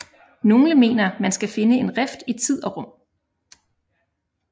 Nogle mener man skal finde en rift i rum og tid